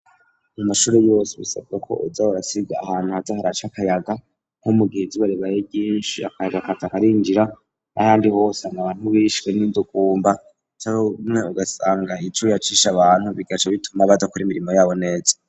mu mashuri yose bisabwa ko boza barasiga ahantu haza haraca akayaga, nko mugihe izuba ribaye ryinshi akayaga kaza karinjira, n, ahandi hose abantu bishwe n'indugumba canke rimwe ugasanga icuya cishe abantu bigaca bituma badakora imirimo yabo neza.